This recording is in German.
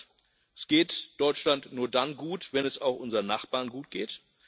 Erstens Es geht Deutschland nur dann gut, wenn es auch unseren Nachbarn gut geht.